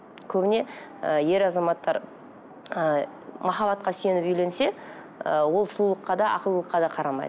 көбіне і ер азаматтар і махаббатқа сүйеніп үйленсе і ол сұлулыққа да ақылдыққа да қарамайды